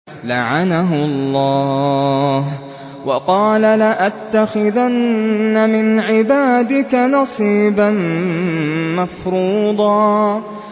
لَّعَنَهُ اللَّهُ ۘ وَقَالَ لَأَتَّخِذَنَّ مِنْ عِبَادِكَ نَصِيبًا مَّفْرُوضًا